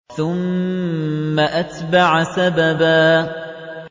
ثُمَّ أَتْبَعَ سَبَبًا